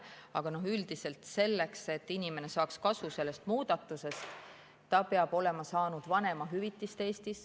Aga üldiselt selleks, et inimene saaks sellest muudatusest kasu, peab ta olema saanud Eestis vanemahüvitist.